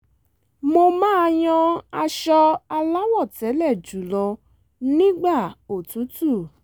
mo máa yan aṣọ aláwọ̀tẹ́lẹ̀ jùlọ nígbà òtútù